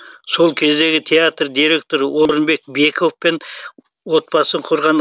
сол кездегі театр директоры орынбек бековпен отбасын құрған